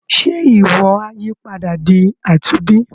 Ṣe iwọ a yípadà di àtúnbí.